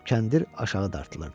Kəndir aşağı dartılırdı.